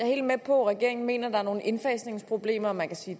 helt med på at regeringen mener at der er nogle indfasningsproblemer man kan sige